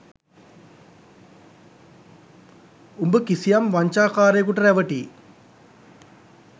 උඹ කිසියම් වංචා කාරයෙකුට රැවටී